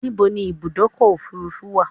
Níbo ni Ibùdọ́kọ̀ òfurufú wa?